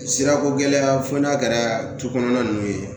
Sirako gɛlɛya fo n'a kɛra du kɔnɔna ninnu ye